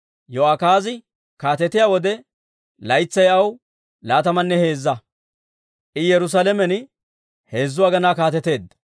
Yo'akaazi kaatetiyaa wode, laytsay aw laatamanne heezza; I Yerusaalamen heezzu aginaa kaateteedda.